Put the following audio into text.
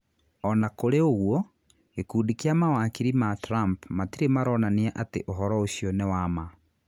O na kũrĩ ũguo, gikundi kia mawakiri ma Trump matirĩ maronania atĩ ũhoro ũcio nĩ wa ma.